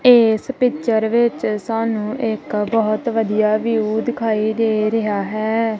ਏਸ ਪਿਚਰ ਵਿੱਚ ਸਾਨੂੰ ਇੱਕ ਬਹੁਤ ਵਧੀਆ ਵਿਊ ਦਿਖਾਈ ਦੇ ਰਿਹਾ ਹੈ।